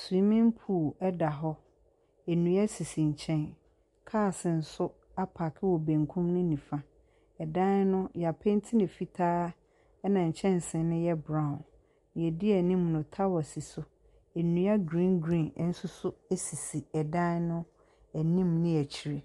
Swiimin puul ɛda hɔ. Nnua esisi nkyɛn. Kaas nso apaaki wɔ benkum ne nifa. Ɛdan no y'apɛnti no fitaa ɛna nkyɛnsee no yɛ braon. Nea edi anim no tawa si so. Nnua griin griin ɛnso so esisi ɛdan no anim ne akyire.